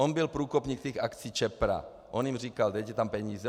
On byl průkopník těch akcí Čepra, on jim říkal dejte tam peníze.